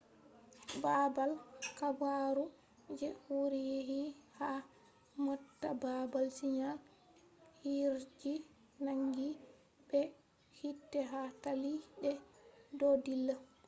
baabal habaru je wuri yecci ha mota baabal sigal jirgi nangi be hiite ha talli de do dilla